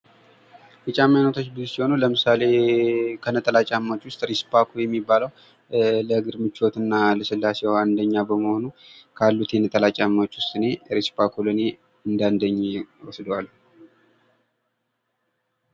የጫማ አይነቶች ብዙ ሲሆኑ ለምሳሌ ከነጠላ ጫማ አይነቶች ዉስጥ ሪስፓኮ የሚባለው ለእግር ምቾት እና ልስላሴ አንደኛ ነው። ካሉት የነጠላ ጫማዎች ይመረጣል።